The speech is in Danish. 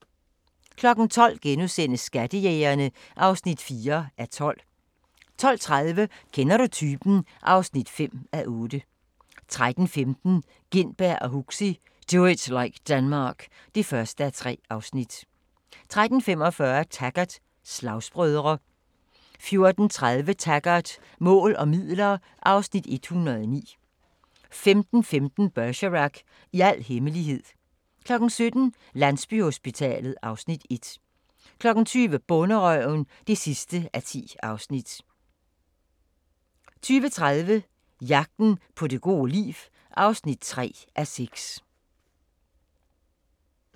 12:00: Skattejægerne (4:12)* 12:30: Kender du typen? (5:8) 13:15: Gintberg og Huxi – Do it like Denmark (1:3) 13:45: Taggart: Slagsbrødre 14:30: Taggart: Mål og midler (Afs. 109) 15:15: Bergerac: I al hemmelighed 16:05: Bergerac: En sang fra fortiden 17:00: Landsbyhospitalet (Afs. 1) 20:00: Bonderøven (10:10) 20:30: Jagten på det gode liv (3:6)